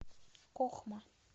кохма